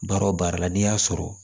Baara o baara la n'i y'a sɔrɔ